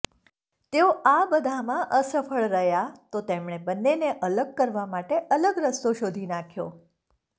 તેઓ આ બધામાં અસફળ રહયા તો તેમણે બંનેને અલગ કરવા માટે અલગ રસ્તો શોધી નાંખ્યો